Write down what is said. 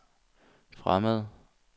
fremmede